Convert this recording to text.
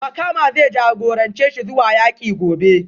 Makama zai jagorance shi zuwa yaki gobe